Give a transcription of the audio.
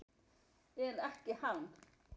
En ekki hann.